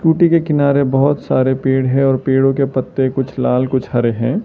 कूटी के किनारे बहोत सारे पेड़ है और पेड़ों के पत्ते कुछ लाल कुछ हरे हैं।